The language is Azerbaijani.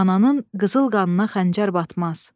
Ananın qızıl qanına xəncər batmaz.